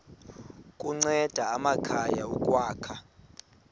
kunceda amakhaya ukwakha